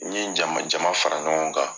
N ye jama jama fara ɲɔgɔn kan.